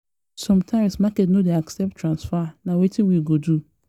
sometimes market no dey accept transfer accept transfer na wetin we go do?